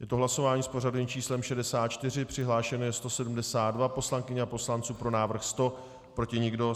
Je to hlasování s pořadovým číslem 64, přihlášeno je 172 poslankyň a poslanců, pro návrh 100, proti nikdo.